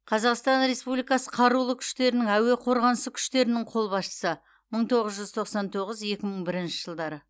қазақстан республикасы қарулы күштерінің әуе қорғанысы күштерінің қолбасшысы мың тоғыз жүз тоқсан тоғыз екі мың бірінші жылдары